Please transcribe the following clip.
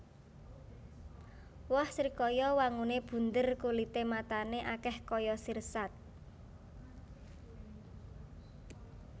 Woh srikaya wanguné bunder kulité matané akèh kaya sirsat